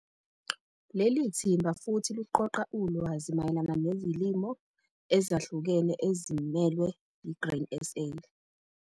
Leli thimba futhi luqoqa ulwazi mayelana nezilimo ezahlukene ezimelwe yi-Grain SA.